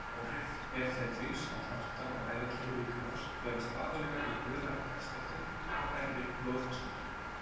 Áhrif efedríns á hjarta- og æðakerfi líkamans felast aðallega í örari hjartslætti og hærri blóðþrýstingi.